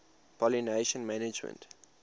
pollination management